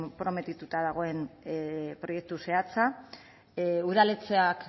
konprometituta dagoen proiektu zehatza udaletxeak